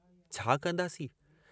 छा कंदासीं?